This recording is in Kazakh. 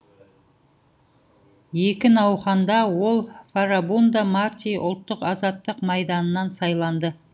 екі науқанда ол фарабундо марти ұлттық азаттық майданынан сайланды